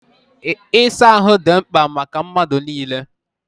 Ịsa ahụ dị mkpa maka mmadụ niile.